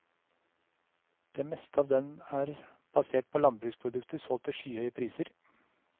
Det meste av den er basert på landbruksprodukter solgt til skyhøye priser.